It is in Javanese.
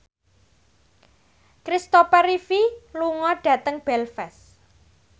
Kristopher Reeve lunga dhateng Belfast